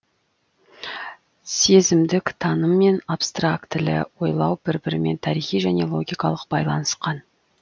сезімдік таным мен абстрактілі ойлау бір бірімен тарихи және логикалық байланысқан